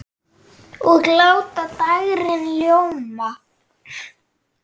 Og láta dægrin ljóma.